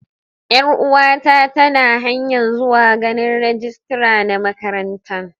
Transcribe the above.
Yar uwa ta ta na hanya'n zuwa ganin rijistira na makarantan.